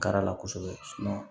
Kari la kosɛbɛ